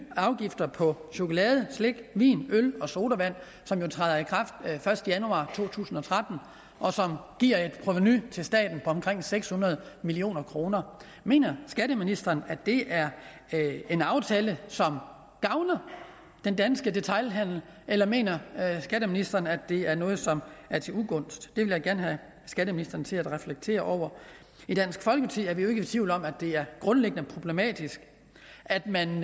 afgifter på chokolade slik vin øl og sodavand som jo træder i kraft første januar to tusind og tretten og som giver et provenu til staten på omkring seks hundrede million kroner mener skatteministeren at det er en aftale som gavner den danske detailhandel eller mener skatteministeren at det er noget som er til ugunst det vil jeg gerne have skatteministeren til at reflektere over i dansk folkeparti er vi ikke i tvivl om at det grundlæggende er problematisk at man